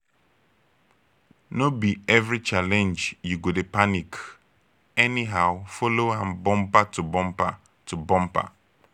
no bi evri challenge yu go dey panic anyhow follow am bumper to bumper to bumper